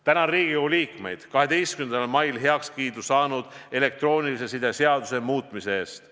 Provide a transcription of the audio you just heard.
Tänan Riigikogu liikmeid 12. mail heakskiidu saanud elektroonilise side seaduse muutmise eest.